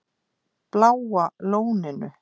Bláa Lóninu